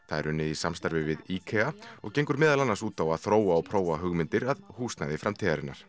það er unnið í samstarfi við IKEA og gengur meðal annars út á að þróa og prófa hugmyndir að húsnæði framtíðarinnar